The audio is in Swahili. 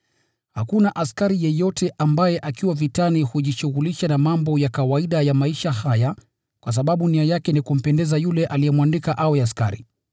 Hakuna askari yeyote ambaye akiwa vitani hujishughulisha na mambo ya kawaida ya maisha haya kwa sababu nia yake ni kumpendeza yule aliyemwandika awe askari.